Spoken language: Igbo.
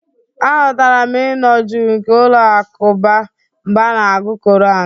Ahụtara m ịnọ jụụ nke ụlọ alakụba mgbe a na-agụ koran.